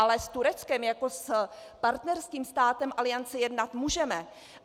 Ale s Tureckem jako s partnerským státem Aliance jednat můžeme.